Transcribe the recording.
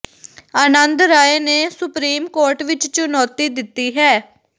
ਆਨੰਦ ਰਾਏ ਨੇ supreme court ਵਿਚ ਚੁਣੌਤੀ ਦਿੱਤੀ ਹੈ